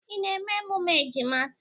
Ị na-eme emume ejima taa?